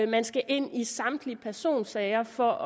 man skal ind i samtlige personsager for